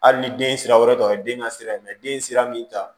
Hali ni den sira wɛrɛ tɔ o ye den ka sira ye den sira min ta